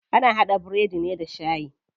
Ana haɗa biredi ne da shayi.